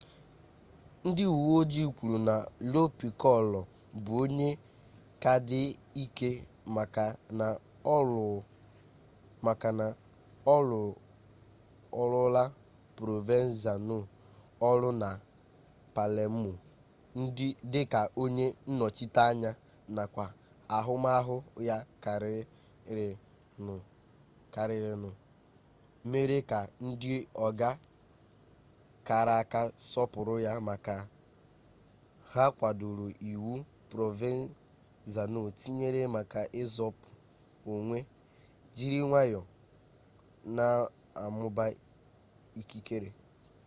ndị uwe ojii kwuru na lo pikolo bụ onye ka dị ike maka na ọ rụọrọla provenzano ọrụ na palemo dị ka onye nnọchiteanya nakwa ahụmahụ ya karịrịnụ mere ka ndị ọga kara aka sọpụrụ ya maka ha kwadoro iwu provenzano tinyere maka izopu onwe jiri nwayọọ na-amụba ikikere